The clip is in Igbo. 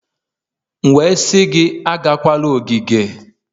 M wee sị gị agakwala ogige!